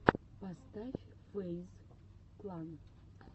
поставь фэйз клан